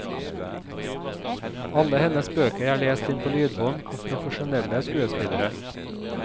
Alle hennes bøker er lest inn på lydbånd av profesjonelle skuespillere.